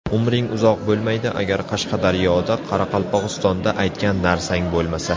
Umring uzoq bo‘lmaydi agar Qashqadaryoda Qoraqalpog‘istonda aytgan narsang bo‘lmasa.